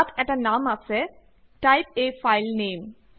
ইয়াত এটা নাম অছে টাইপ a ফাইল name